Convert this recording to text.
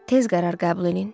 Tez qərar qəbul eləyin.